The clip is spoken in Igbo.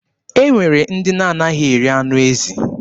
E nwere ndị na-anaghị eri anụ ezi.